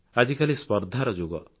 ଆଜିକାଲି ସ୍ପର୍ଦ୍ଧାର ଯୁଗ